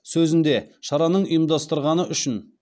сөзінде шараны ұйымдастырғаны үшін